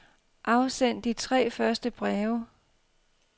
Afsend de tre første breve.